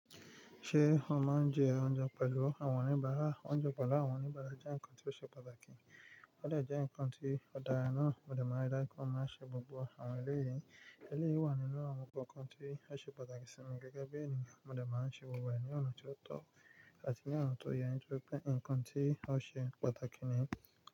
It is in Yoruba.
Ṣé ó máa ń jẹ oúnjẹ pẹ̀lú àwọn oníbàárà? Oúnjẹ pẹ̀lú àwọn oníbàárà jẹ́ nkan tí ó ṣe pàtàkì, ó lè jẹ́ ǹkan tí o dara náà mo de maa n ri daju pe mo máa n ṣe gbogbo àwọn eléyìí. Eléyìí wà nínú àwọn nnkan kokan tí ó ṣe pàtàkì sí mi gẹ́gẹ́ bí ènìyàn, mo dẹ̀ máa ń ṣe gbogbo ẹ̀ ní ọ̀nà tí ó tọ́ àti ní ọ̀nà tó yẹ ní tori pé ǹkan tí a ó ṣe pàtàkì nì.